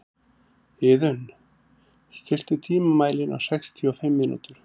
Iðunn, stilltu tímamælinn á sextíu og fimm mínútur.